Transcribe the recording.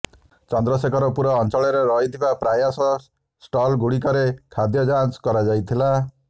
ଚନ୍ଦ୍ରଶେଖରପୁର ଅଞ୍ଚଳରେ ରହିଥିବା ପ୍ରୟାସ୍ ଷ୍ଟଲ୍ଗୁଡ଼ିକରେ ଖାଦ୍ୟ ଯାଞ୍ଚ କରାଯାଇଥିଲା